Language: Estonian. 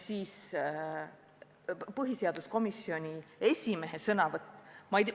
See põhiseaduskomisjoni esimehe sõnavõtt!